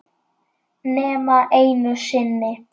Nema einu sinni.